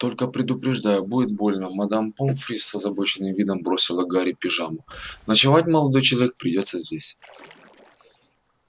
только предупреждаю будет больно мадам помфри с озабоченным видом бросила гарри пижаму ночевать молодой человек придётся здесь